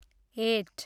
at